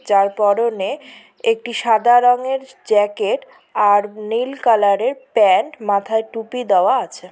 যার পড়নে একটি সাদা রঙের জ্যাকেট আর নীল কালারের প্যান্ট মাথায় টুপি দেওয়া আছে।